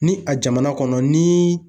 Ni a jamana kɔnɔ ni